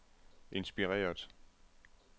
inspireret